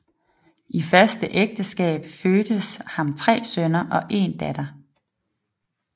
I første ægteskab fødtes ham tre sønner og en datter